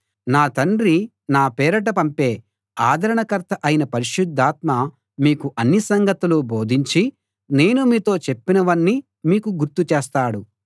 నా తండ్రి నా పేరిట పంపే ఆదరణకర్త అయిన పరిశుద్ధాత్మ మీకు అన్ని సంగతులు బోధించి నేను మీతో చెప్పినవన్నీ మీకు గుర్తు చేస్తాడు